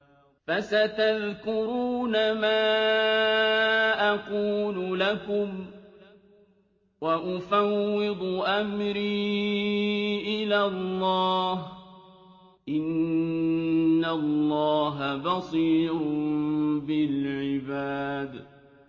فَسَتَذْكُرُونَ مَا أَقُولُ لَكُمْ ۚ وَأُفَوِّضُ أَمْرِي إِلَى اللَّهِ ۚ إِنَّ اللَّهَ بَصِيرٌ بِالْعِبَادِ